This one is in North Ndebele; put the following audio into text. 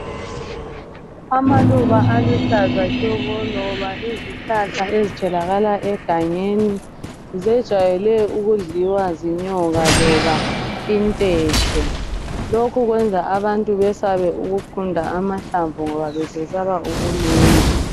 Amaluba aluhlaza tshoko loba izihlahla ezitholaka egangeni zejwayele ukudliwa zinyoka loba intethe. Lokho kwenza abantu besabe ukugunda amahlamvu ngoba besesaba ukulunywa.